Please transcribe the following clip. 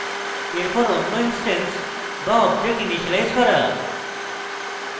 এরপর অন্য instance বা object ইনিসিয়েলাইজ করা